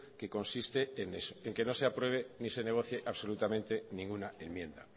que consiste en eso en que no se apruebe ni se negocie absolutamente ninguna enmienda